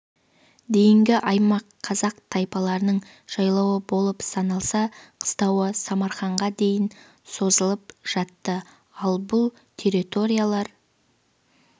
дейінгі аймақ қазақ тайпаларының жайлауы болып саналса қыстауы самарқанға дейін созылып жатты ал бұл территориялар